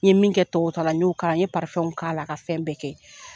N ye min kɛ tɔgɔw ta la n y'o k'a la n ye ka fɛn bɛɛ kɛ.